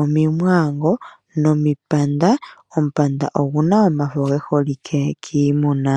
omimwaango nomipanda, omupanda oguna omafo ge holike kiimuna.